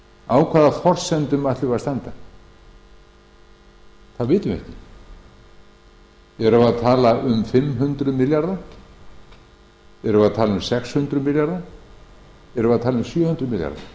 á hvaða forsendum ætlum við að standa það vitum við ekki erum við að tala um fimm hundruð milljarða erum við að tala um sex hundruð milljarða erum við að tala um sjö hundruð milljarða